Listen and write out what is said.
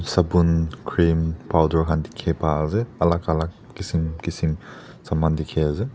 sabun cream powder khan dikhi paiase alak alak kishim kishim saman dikhiase.